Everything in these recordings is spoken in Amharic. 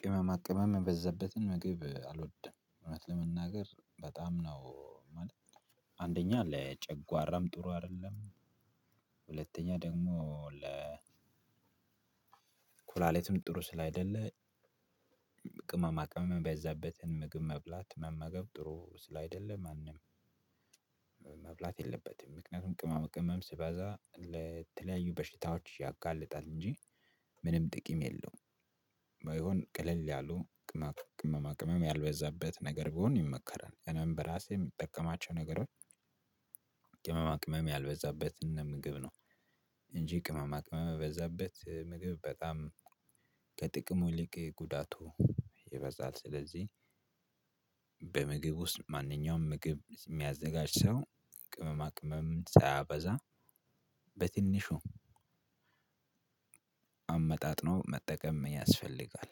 ቅመማ ቅመም የበዛበትን ምግብ አልወድም። እውነት ለመናገር በጣም ነው ማለት አንደኛ ለጨጓራም ጥሩ አይደለም ሁለተኛ ደግሞ ለ ኮላሊትም ጥሩ ስላይደለ ቅማማ ቅመም የበዛበትን ምግብ መብላት መመገብ ጥሩ ስላይደለ ማንም መብላት የለበትም ምክንያቱም ቅመማ መቅመም ስበዛ ለተለያዩ በሽታዎች ያጋልጣል እንጂ ምንም ጥቅም የለውም ባይሆን ቀለል ያሉ ቅመማ ቅመም ያልበዛበት ነገር ቢሆን ይመከራል። እኔም በራሴ የምጠቀማቸው ነገሮች ቅመማ ቅመም ያልበዛበትን ምግብ ነው። እንጂ ቅመማ ቅመም የበዛበት ምግብ በጣም ከጥቅም ይልቅ ጉዳቱ ይበዛል ስለዚህ በምግብ ውስጥ ማንኛውም ምግብ የሚያዘጋጅ ሰው ቅመማ ቅመም ሳያበዛ በትንሹ አመጣጥኖ መጠቀም ያስፈልጋል።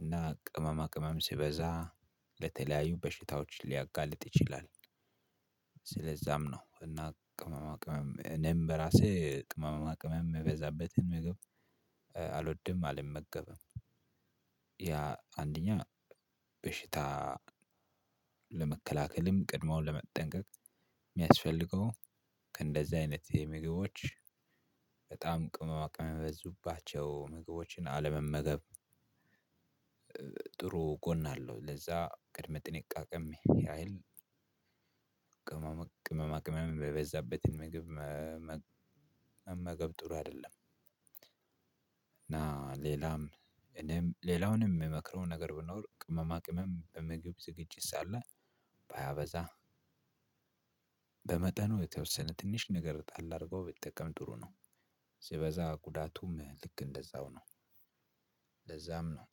እና ቅመማ ቅመም ሲበዛ ለተለያዩ በሽታዎች ሊያጋልጥ ይችላል። ለዛም ነው እና ቅመምቅ ቅመም እኔም በራሴ ቅመማ ቅመም ምበዛበትን ምግብ፤ አልወድም አልመገብም። ያ አንደኛ በሽታ ለመከላከልም ቀድሞ ለመጠንቀቅ የሚያስፈልገው ከእንደዚህ አይነት የምግቦች በጣም ቅመ ማ ቅመም የበዙባቸው ምግቦችን አለመመገብ መገብ። ጥሩ ጎን አለው ለዛ ቅድመ ጥንቃቄም ያህል ቅመማ ቅመም የበዛበትን ምግብ መመገብ ጥሩ አይደለም። ሌላዉንም የምመክረው ነገር ብኖር ቅመማ ቅመም በምግብ ዝግጅት ሳለ ሳያበዛ በመጠኑ የተወሰነ ትንሽ ነገር ጣል አድርጎ ቢጠቀም ጥሩ ነው። ስበዛ ጉዳቱም ልክ እንደዛው ነው። ለዛም ነው